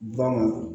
Ba ma